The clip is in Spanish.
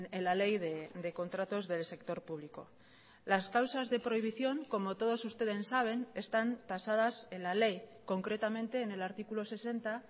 en la ley de contratos del sector público las causas de prohibición como todos ustedes saben están tasadas en la ley concretamente en el artículo sesenta